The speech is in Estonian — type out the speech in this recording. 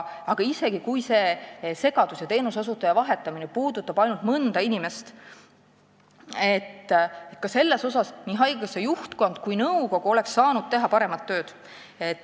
Aga isegi kui see segadus ja teenuse osutaja vahetamine mõjutas ainult mõnda inimest, oleks nii haigekassa juhtkond kui nõukogu saanud paremat tööd teha.